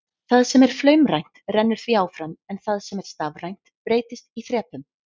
Það sem er flaumrænt rennur því áfram en það sem er stafrænt breytist í þrepum.